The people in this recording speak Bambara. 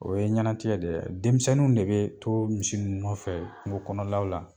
O ye ɲanatigɛ dɛ, denmisɛnninw de bɛ to misi nun nɔfɛ kungo kɔnɔlaw la.